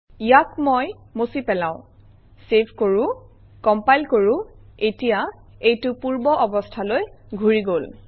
ইয়াক মই মচি পেলাও চেভ কৰোঁ কমপাইল কৰোঁ এতিয়া এইটো পূৰ্বৰ অৱস্থালৈ ঘূৰি গল